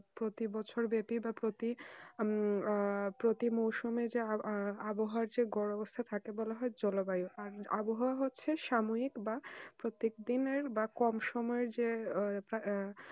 প্রতি বছর ব্যাপিক বা প্রতি আহ প্রতি মৌসুমে যে আহ আবহাওয়া যে গড় অবস্থান থাকে তাকে বলা হয় জলবায়ু আর আবহাওয়া হচ্ছে সাময়িক বা প্রত্যেক দিনে বা কম সুময়ে যে আহ